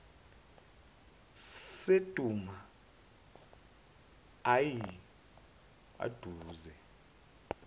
sedamu ayi aduze